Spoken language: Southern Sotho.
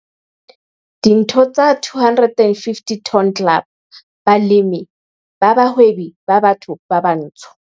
5.1.4 Ditho tsa 250 Ton Club, balemi ba bahwebi ba batho ba batsho.